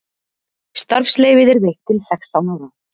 Starfsleyfið er veitt til sextán ára